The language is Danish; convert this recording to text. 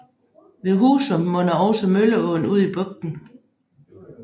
Ved Husum munder også Mølleåen ud i bugten